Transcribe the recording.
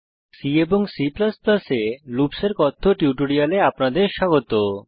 C এবং C এ loops এর কথ্য টিউটোরিয়ালে আপনাদের স্বাগত